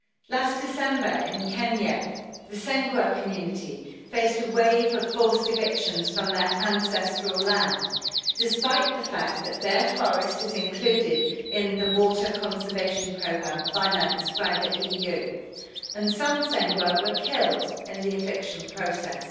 Last December in Kenya, the Sengwer community faced a wave of forced evictions from their ancestral land, despite the fact that their forest is included in the water conservation programme financed by the EU, and some Sengwer were killed in the eviction process.